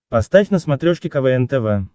поставь на смотрешке квн тв